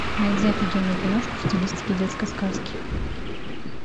найди офигенную киношку в стилистике детской сказки